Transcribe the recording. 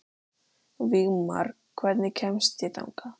Vígmar, hvernig kemst ég þangað?